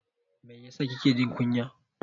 Mai yasa kike jin kunya?